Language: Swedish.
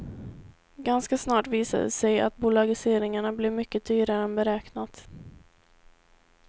Ganska snart visade det sig att bolagiseringarna blev mycket dyrare än beräknat.